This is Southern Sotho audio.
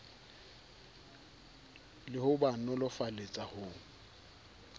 le ho ba nolofaletsa ho